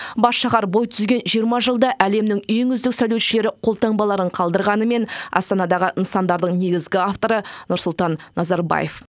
бас шаһар бой түзген жиырма жылда әлемнің ең үздік сәулетшілері қолтаңбаларын қалдырғанымен астанадағы нысандардың негізгі авторы нұрсұлтан назарбаев